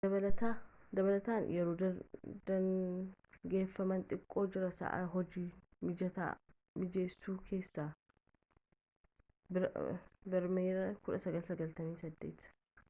dabalataan yeroo daangeffamaa xiqqootu jira sa’aa hojii mijata mijeessuu keessatti. bireemerii 1998